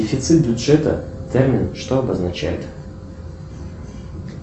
дефицит бюджета термин что обозначает